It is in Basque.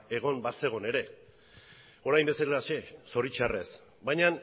egon bazegon ere orain bezalaxe zoritzarrez baina